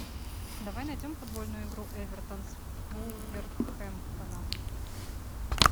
давай найдем футбольную игру эвертон с вулверхэмптоном